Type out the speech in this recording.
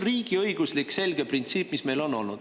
See on olnud selge riigiõiguslik printsiip.